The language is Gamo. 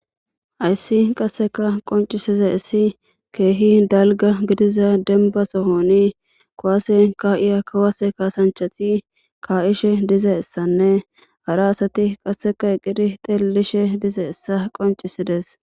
Ayssi qasseka qoncisiza issi keehi dalga gidiza denba sohoni kowase ka'iya kawase kaasanchati ka'ishe dize essanne hara asati qasseka eqiri tellishe dize essa qoncisides.